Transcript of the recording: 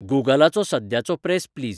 गुगलाचो सद्याचो press please